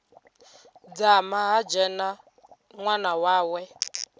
dzama ha dzhena ṅwana wawe